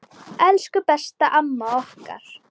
Elsku besta, amma okkar.